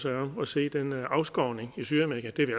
sig om at se den afskovning i sydamerika det er vi